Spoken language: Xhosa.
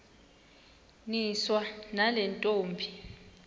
niswa nale ntombi